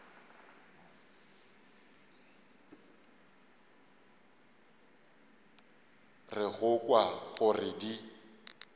re go kwa gore di